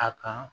A kan